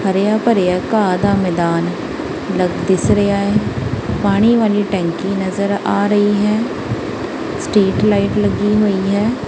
ਹਰਿਆ ਭਰਿਆ ਘਾਹ ਦਾ ਮੈਦਾਨ ਦਿਸ ਰਿਹਾ ਪਾਣੀ ਵਾਲੀ ਟੈਂਕੀ ਨਜ਼ਰ ਆ ਰਹੀ ਹੈ ਸਟਰੀਟ ਲਾਈਟ ਲੱਗੀ ਹੋਈ ਹੈ।